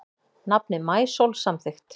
Nafnið Maísól samþykkt